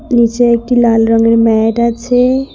নীচে একটি লাল রঙের ম্যাট আছে।